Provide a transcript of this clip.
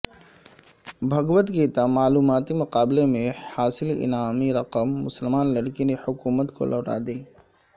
بھگوت گیتا معلوماتی مقابلے میں حاصل انعامی رقم مسلمان لڑکی نے حکومت کو لوٹا دی